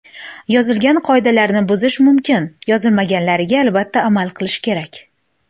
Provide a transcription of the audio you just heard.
Yozilgan qoidalarni buzish mumkin, yozilmaganlariga albatta amal qilish kerak.